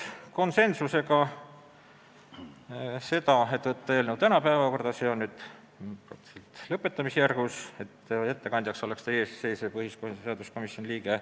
Konsensusega otsustati teha ettepanek võtta eelnõu tänasesse päevakorda ja määrata ettekandjaks teie ees seisev põhiseaduskomisjoni liige.